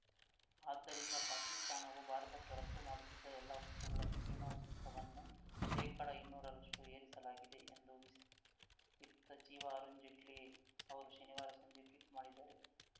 ಆದ್ದರಿಂದ ಪಾಕಿಸ್ತಾನವು ಭಾರತಕ್ಕೆ ರಫ್ತು ಮಾಡುತ್ತಿದ್ದ ಎಲ್ಲ ವಸ್ತುಗಳ ಸೀಮಾ ಸುಂಕವನ್ನು ಶೇಕಡಇನ್ನೂರರಷ್ಟುಏರಿಸಲಾಗಿದೆ ಎಂದು ವಿಸ್ ವಿತ್ತ ಸಚಿವ ಅರುಣ್‌ ಜೇಟ್ಲಿ ಅವರು ಶನಿವಾರ ಸಂಜೆ ಟ್ವೀಟ್‌ ಮಾಡಿದ್ದಾರೆ